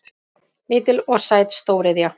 Lítil og sæt stóriðja